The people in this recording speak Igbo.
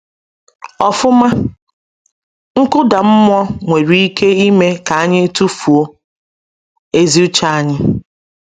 Ọfụma, nkụda mmụọ nwere ike ime ka anyị tụfuo ezi uche anyị.